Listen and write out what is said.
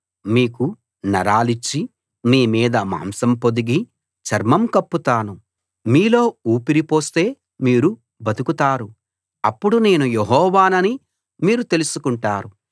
మీకు నరాలిచ్చి మీ మీద మాంసం పొదిగి చర్మం కప్పుతాను మీలో ఊపిరి పోస్తే మీరు బతుకుతారు అప్పుడు నేను యెహోవానని మీరు తెలుసుకుంటారు